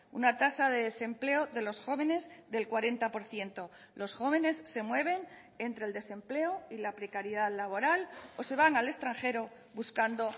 una tasa de desempleo de los jóvenes del cuarenta por ciento los jóvenes se mueven entre el desempleo y la precariedad laboral o se van al extranjero buscando